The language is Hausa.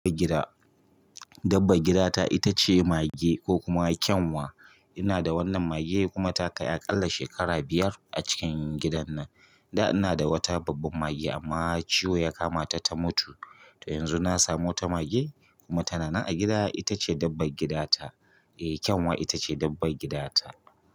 Dabba gida ta ita ce mage ko kuma kyanwa. Ina da wannan mage kuma ta kai aƙalla shekara biyar a cikin gidan nan. Da ina da wata babban mage amma ciwo ya kama ta ta mutu, to yanzu na samo ta mage kuma tana nan a gida ita ce dabba gida ta. Eh kyanwa ita ce dabba gida ta.